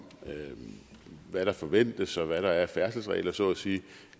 hvad der forventes og hvad der er af færdselsregler så at sige